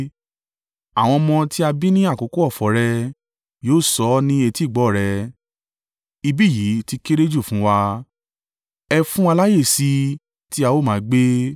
Àwọn ọmọ tí a bí ní àkókò ọ̀fọ̀ rẹ yóò sọ ní etígbọ̀ọ́ rẹ, ‘Ibi yìí ti kéré jù fún wa; ẹ fún wa láyè sí i tí a ó máa gbé.’